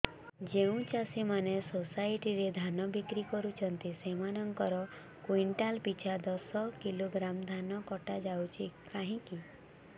ଯେଉଁ ଚାଷୀ ମାନେ ସୋସାଇଟି ରେ ଧାନ ବିକ୍ରି କରୁଛନ୍ତି ସେମାନଙ୍କର କୁଇଣ୍ଟାଲ ପିଛା ଦଶ କିଲୋଗ୍ରାମ ଧାନ କଟା ଯାଉଛି କାହିଁକି